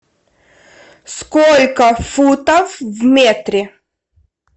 сколько футов в метре